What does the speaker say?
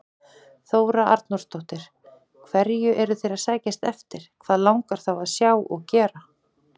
Þóra Arnórsdóttir: Hverju eru þeir að sækjast eftir, hvað langar þá að sjá og gera?